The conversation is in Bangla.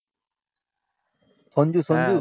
সঞ্জু সঞ্জু?